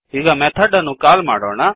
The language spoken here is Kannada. ಈಗ ಮೆಥಡ್ ಅನ್ನು ಕಾಲ್ ಮಾಡೋಣ